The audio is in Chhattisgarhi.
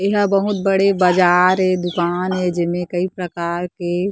एहा बहुत बड़े बाजार ए दुकान ए जेमा कई परकार के--